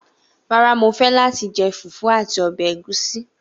Rárá, mo fẹ́ láti jẹ fùfú àti ó ẹ ẹ̀gúsí.